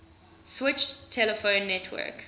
switched telephone network